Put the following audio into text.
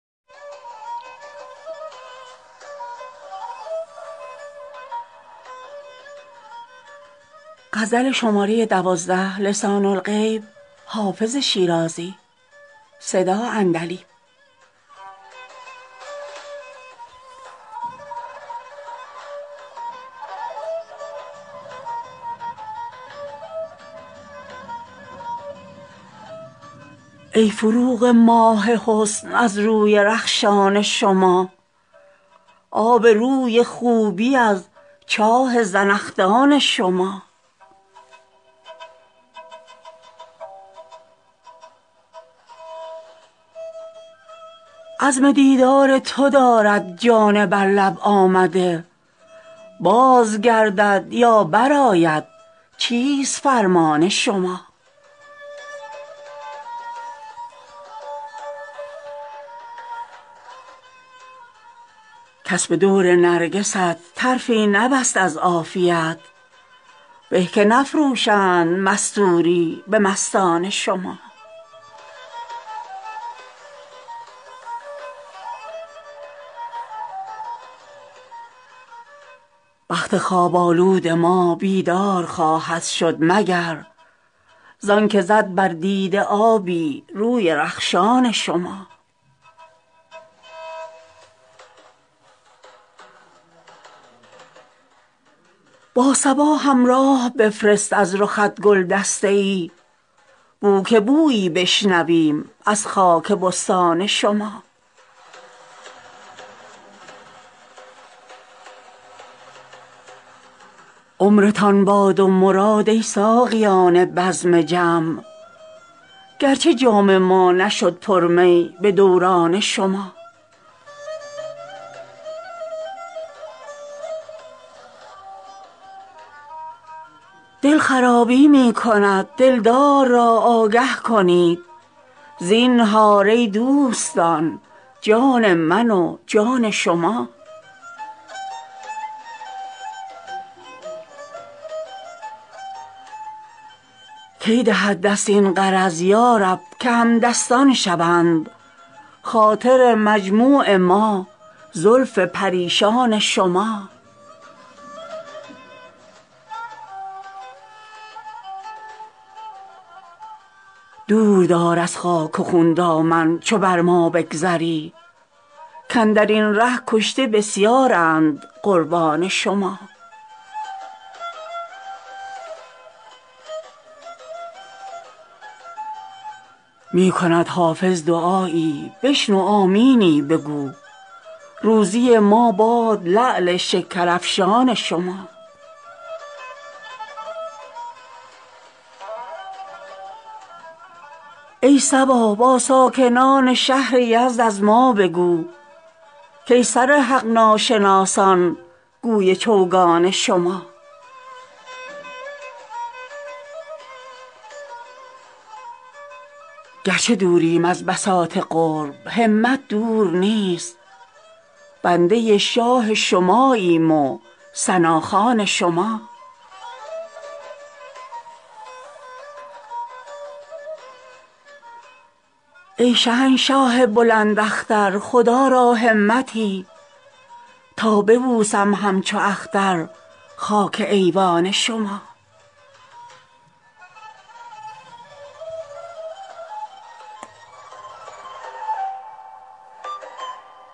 ای فروغ ماه حسن از روی رخشان شما آب روی خوبی از چاه زنخدان شما عزم دیدار تو دارد جان بر لب آمده باز گردد یا برآید چیست فرمان شما کس به دور نرگست طرفی نبست از عافیت به که نفروشند مستوری به مستان شما بخت خواب آلود ما بیدار خواهد شد مگر زان که زد بر دیده آبی روی رخشان شما با صبا همراه بفرست از رخت گل دسته ای بو که بویی بشنویم از خاک بستان شما عمرتان باد و مراد ای ساقیان بزم جم گرچه جام ما نشد پر می به دوران شما دل خرابی می کند دلدار را آگه کنید زینهار ای دوستان جان من و جان شما کی دهد دست این غرض یا رب که همدستان شوند خاطر مجموع ما زلف پریشان شما دور دار از خاک و خون دامن چو بر ما بگذری کاندر این ره کشته بسیارند قربان شما می کند حافظ دعایی بشنو آمینی بگو روزی ما باد لعل شکرافشان شما ای صبا با ساکنان شهر یزد از ما بگو کای سر حق ناشناسان گوی چوگان شما گرچه دوریم از بساط قرب همت دور نیست بنده شاه شماییم و ثناخوان شما ای شهنشاه بلند اختر خدا را همتی تا ببوسم همچو اختر خاک ایوان شما